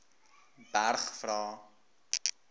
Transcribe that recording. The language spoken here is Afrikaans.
berg vra